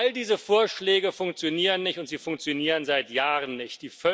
All diese Vorschläge funktionieren nicht, und sie funktionieren seit Jahren nicht.